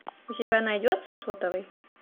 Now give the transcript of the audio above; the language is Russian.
у тебя найдется сотовый